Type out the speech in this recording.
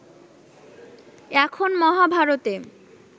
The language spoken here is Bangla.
এখন মহাভারতে